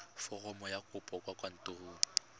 foromo ya kopo kwa kantorong